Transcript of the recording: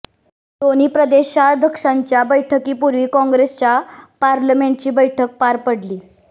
दोन्ही प्रदेशाध्यक्षांच्या बैठकीपूर्वी काँग्रेसच्या पार्लमेंटची बैठक पार पडली